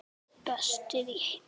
Ætli það ekki svarar hann.